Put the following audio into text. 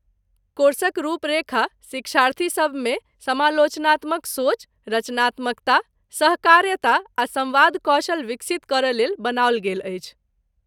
कोर्सक रुपरेखा शिक्षार्थीसभ मे समालोचनात्मक सोच, रचनात्मकता, सहकार्यता आ सम्वाद कौशल विकसित करयलेल बनाओल गेल अछि।